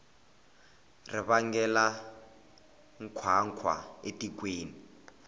ri vangela nkhwankhwa etikweni